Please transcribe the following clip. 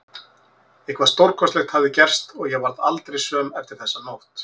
Eitthvað stórkostlegt hafði gerst og ég varð aldrei söm eftir þessa nótt.